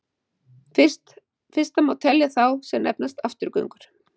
Fyrsta má telja þá sem nefnast afturgöngur.